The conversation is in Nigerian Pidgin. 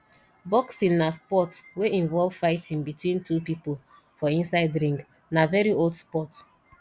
boxing na sport wey involve fighting between two pipo for inside ring na very old sport